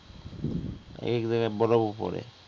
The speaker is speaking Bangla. একেক জায়গায় বরফ ও পড়ে